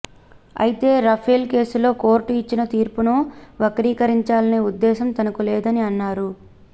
అయితే రఫేల్ కేసులో కోర్టు ఇచ్చిన తీర్పును వక్రీకరించాలనే ఉద్దేశం తనకు లేదని అన్నారు